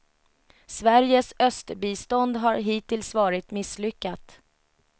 Sveriges östbistånd har hittills varit misslyckat.